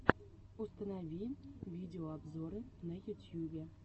установи видеообзоры на ютьюбе